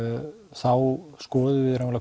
þá skoðum við